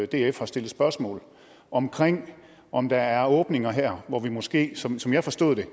df har stillet spørgsmål om om der er åbninger her hvor vi måske som som jeg forstod det